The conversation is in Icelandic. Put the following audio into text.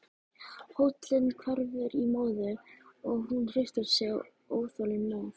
Hóllinn hverfur í móðu og hún hristir sig óþolinmóð.